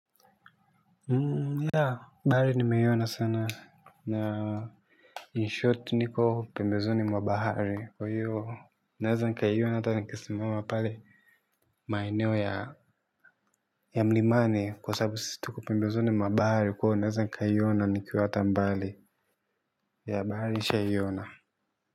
Ya, bahari nimeiona sana na inshot niko pembezoni mwa bahari kwa hiyo naweza nkaiona ata nkisimama pale maeneo ya ya mlimani kwa sababu sisi tuko pembezoni mwabahari kwa hiyo naweza nkaiona nikiwa ata mbali ya bahari nisha iona.